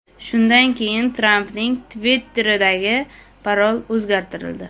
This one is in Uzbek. Shundan keyin Trampning Twitter’idagi parol o‘zgartirildi.